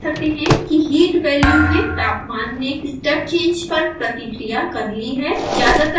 हम देख सकते हैं कि heat वैल्यू में तापमान ने step change पर प्रतिक्रिया कर ली है